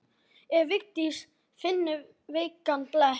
Ef Vigdís finnur veikan blett.